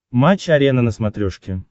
матч арена на смотрешке